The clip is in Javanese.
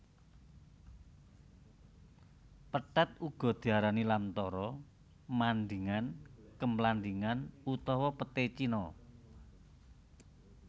Pethèt uga diarani lamtoro mandingan kemlandingan utawa petai cina